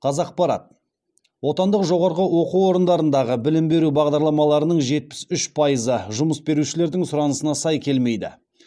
қазақпарат отандық жоғарғы оқу орындарындағы білім беру бағдарламаларының жетпіс үш пайызы жұмыс берушілердің сұранысына сай келмейді